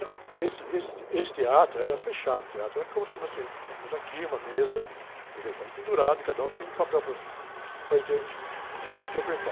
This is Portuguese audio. Não, esse, esse, esse teatro era fechado, o teatro era como se nós colocamos aqui uma mesa, microfone pendurado e cada um tinha um papel para, para inter, in, interpretar.